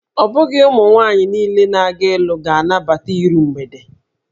Ọ bụghị ụmụ mwaanyị niile na-aga ịlụ ga-anabata iru mgbede